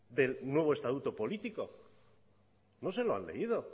del nuevo estatuto político no se lo han leído